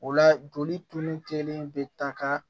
O la joli tun kelen bɛ taa ka